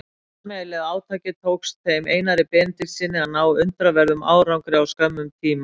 Með sameiginlegu átaki tókst þeim Einari Benediktssyni að ná undraverðum árangri á skömmum tíma.